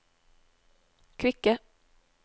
kvikke